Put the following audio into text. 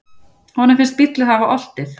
Honum finnst bíllinn hafa oltið.